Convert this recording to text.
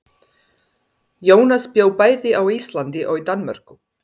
Jónas bjó bæði á Íslandi og í Danmörku.